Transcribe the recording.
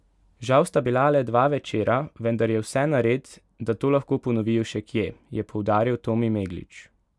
Žal sta bila le dva večera, vendar je vse nared, da to lahko ponovijo še kje, je poudaril Tomi Meglič.